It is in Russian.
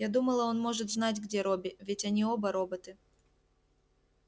я думала он может знать где робби ведь они оба роботы